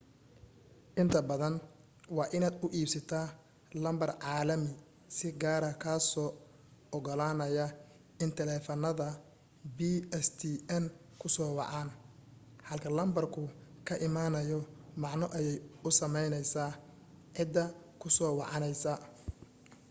inta badan waa inaad u iibsataa lambar caalami si gaara kaasoo ogolaanaya in taleefanada pstn ku soo wacaan halka lambarku ka imanayo macno ayay u samaynaysaa cidda ku soo wacaysa